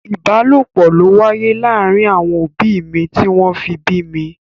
Ìbálòpọ̀ ló wáyé láàárín àwọn òbí mi tí wọ́n fi bí mi.